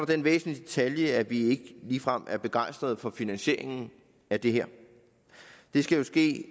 den væsentlige detalje at vi ikke ligefrem er begejstrede for finansieringen af det her det skal jo ske